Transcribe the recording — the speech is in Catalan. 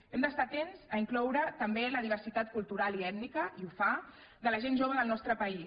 hem d’estar atents a incloure també la diversitat cultural i ètnica i ho fa de la gent jove del nostre país